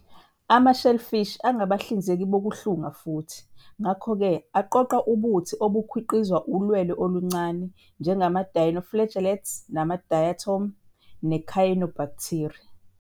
Ama-Shellfish angabahlinzeki bokuhlunga futhi, ngakho-ke, aqoqa ubuthi obukhiqizwa ulwelwe oluncane, njengama- dinoflagellates nama- diatom, ne- cyanobacteria.